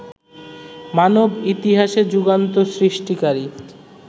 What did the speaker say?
মানব ইতিহাসে যুগান্ত সৃষ্টিকারী